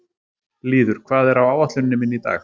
Lýður, hvað er á áætluninni minni í dag?